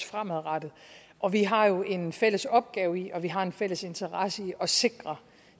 fremadrettet og vi har jo en fælles opgave i og vi har en fælles interesse i at sikre